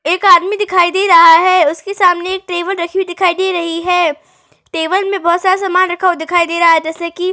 एक आदमी दिखाई दे रहा है। उसके सामने एक टेबल रखी हुई दिखाई दे रही है। टेबल में बहोत सारा सामान रखा हुआ दिखाई दे रहा है जैसे की --